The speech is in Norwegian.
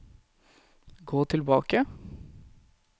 gå tilbake